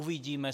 Uvidíme.